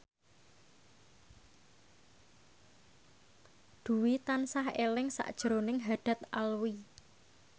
Dwi tansah eling sakjroning Haddad Alwi